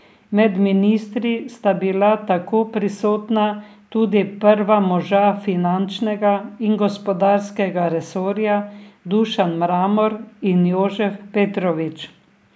Med ministri sta bila tako prisotna tudi prva moža finančnega in gospodarskega resorja Dušan Mramor in Jožef Petrovič.